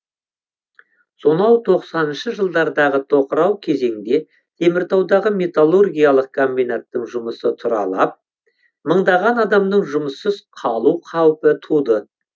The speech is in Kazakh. сонау тоқсаныншы жылдардағы тоқырау кезеңде теміртаудағы металлургиялық комбинаттың жұмысы тұралап мыңдаған адамның жұмыссыз қалу қаупі туды